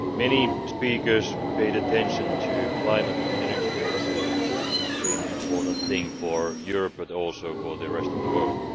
Many speakers paid attention to climate and energy policy, which is an extremely important thing for Europe but also for the rest of the world.